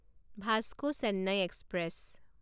Vasco Chennai express